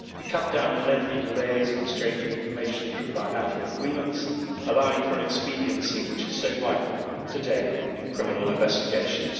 We cut down the lengthy delays of exchanging information through bilateral agreements, allowing for an expediency which is so vital today in criminal investigations.